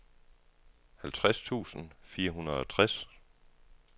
halvtreds tusind fire hundrede og tres